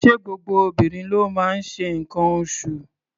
Ṣé gbogbo obìnrin ló máa ń ṣe nǹkan oṣụ̀?